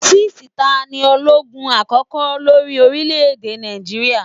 6.Ta ní ológun àkókò lórí orílẹ̀ èdè Nàìjíríà?